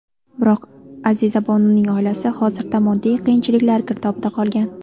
Biroq, Azizabonuning oilasi hozirda moddiy qiyinchiliklar girdobida qolgan.